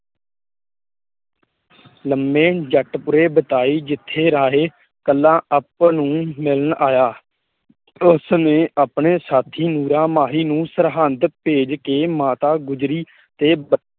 ਲੰਮੇ ਜੱਟ ਪੁਰ ਵਿਖੇ ਬਿਤਾਈ ਜਿਥੇ ਰਾਹੇ ਕੱਲ਼ਾ ਆਪ ਨੂੰ ਮਿਲਣ ਆਇਆ, ਉਸ ਨੇ ਆਪਣੇ ਸਾਥੀ ਨੂਰਾ ਮਾਹੀ ਨੂੰ ਸਰਹੰਦ ਭੇਜ ਕੇ ਮਾਤਾ ਗੁਜਰੀ ਤੇ